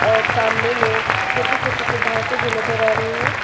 और सामने में छोटे छोटे से घासे भी नजर आ रही है।